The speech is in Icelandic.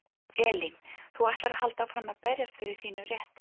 Elín: Þú ætlar að halda áfram að berjast fyrir þínum rétti?